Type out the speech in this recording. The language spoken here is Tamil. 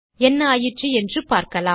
என்ன ஆயிற்று என்று பார்க்கலாம்